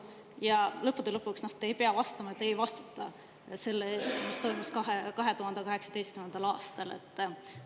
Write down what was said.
Ja lõppude lõpuks, te ei pea vastama 2018. aastal toimunu kohta, te ei vastuta selle eest.